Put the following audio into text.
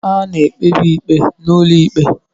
A na-ekpebi ikpe n'ụlọ ikpe